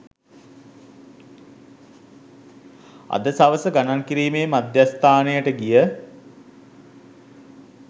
අද සවස ගණන් කිරීමේ මධ්‍යස්ථානයට ගිය